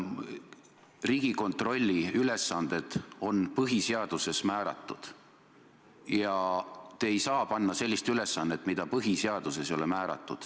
Riigikontrolli ülesanded on põhiseaduses määratud ja te ei saa panna talle sellist ülesannet, mida põhiseaduses ei ole määratud.